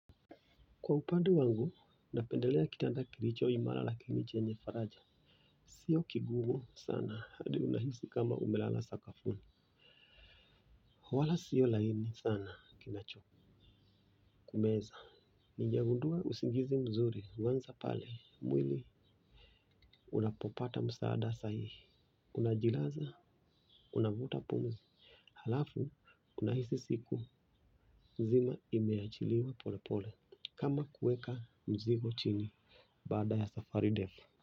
Kwa upande wangu, napendelea kitanda kilicho imara lakini chenye faraja. Sio kigumu sana hadi unahisi kama umelala sakafuni. Wala sio laini sana kinachokumeza. Nimegundua usingizi mzuri huanza pale mwili unapopata msaada sahihi. Unajilaza, unavuta pumzi halafu unahisi siku mzima imeachiliwa polepole kama kueka mzigo chini baada ya siku ndefu.